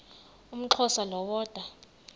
umxhosa lo woda